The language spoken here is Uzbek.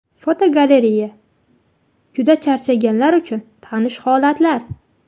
Fotogalereya: Juda charchaganlar uchun tanish holatlar.